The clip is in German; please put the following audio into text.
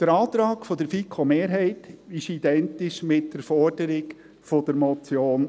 Der Antrag der Fiko-Mehrheit ist identisch mit der Forderung der Motion